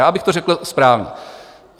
Já bych to řekl správně.